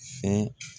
Sɛ